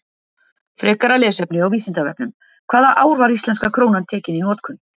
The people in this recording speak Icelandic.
Frekara lesefni á Vísindavefnum: Hvaða ár var íslenska krónan tekin í notkun?